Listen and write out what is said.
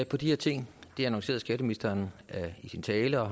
på de her ting det annoncerede skatteministeren i sin tale og